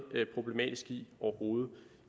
problematisk i